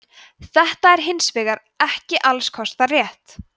þetta er hins vegar ekki alls kostar rétt